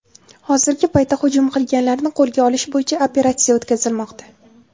Hozirgi paytda hujum qilganlarni qo‘lga olish bo‘yicha operatsiya o‘tkazilmoqda.